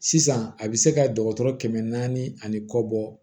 Sisan a bɛ se ka dɔgɔtɔrɔ kɛmɛ naani ani kɔ bɔ